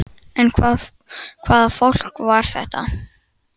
En hvaða fólk var þetta?